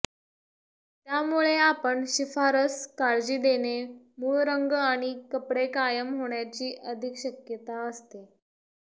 त्यामुळे आपण शिफारस काळजी देणे मूळ रंग आणि कपडे कायम होण्याची अधिक शक्यता असते